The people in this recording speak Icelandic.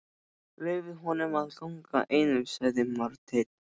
Leyfið honum að ganga einum, sagði Marteinn.